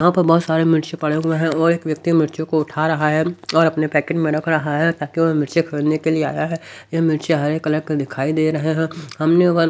यहाँ पर बहुत सारे मिर्ची पड़े हुए हैं और एक व्यक्ति मिर्चों को उठा रहा है और अपने पैकेट में रख रहा है ताकि वो मिर्चे खरीदने के लिए आया है ये मिर्चे हरे कलर के दिखाई दे रहे हैं हमने और--